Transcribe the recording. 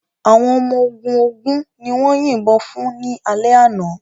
Àwọn ọmọ ogun ogún ni wọ́n yìnbọn fún ní alẹ́ àná.